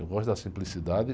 Eu gosto da simplicidade.